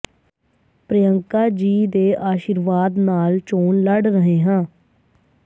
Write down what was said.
ਪ੍ਰਿਯੰਕਾ ਜੀ ਦੇ ਆਸ਼ੀਰਵਾਦ ਨਾਲ ਚੋਣ ਲੜ ਰਹੇ ਹਾਂ